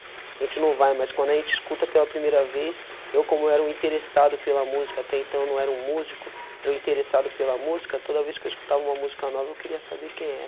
A gente não vai, mas quando a gente escuta pela primeira vez, eu, como era um interessado pela música, até então não era um músico, era um interessado pela música, toda vez que eu escutava uma música nova, eu queria saber quem era.